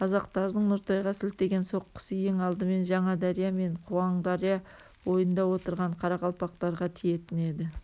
қазақтардың нұртайға сілтеген соққысы ең алдымен жаңадария мен қуандария бойында отырған қарақалпақтарға тиетін еді